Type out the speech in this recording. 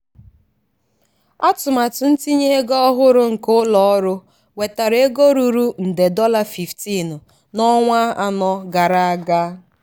atụmatụ ntinye ego ọhụrụ nke ụlọọrụ wetara ego ruru nde dollar 15 n’ọnwa anọ gara aga.